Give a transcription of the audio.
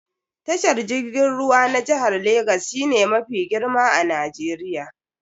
Tashar jirgin ruwa na jihar Legas shine mafi girma a Najeriya.